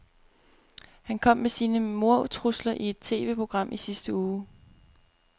Han kom med sine mordtrusler i et TVprogram i sidste uge.